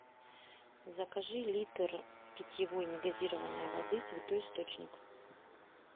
закажи литр питьевой негазированной воды святой источник